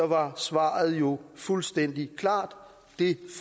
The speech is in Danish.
var svaret jo fuldstændig klart det